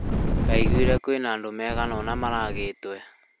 Ndaiguire kwĩna andũ aigana ũna maragĩtwo